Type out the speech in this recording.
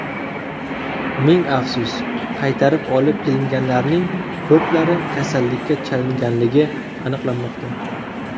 Ming afsus, qaytarib olib kelinganlarning ko‘plari kasallikka chalinganligi aniqlanmoqda.